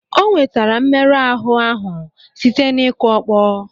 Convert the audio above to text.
O nwetara mmerụ ahụ ahụ site n'ikụ ọkpọ.